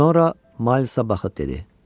Sonra Maylsa baxıb dedi: